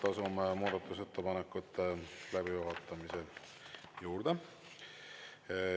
Asume muudatusettepanekute läbivaatamise juurde.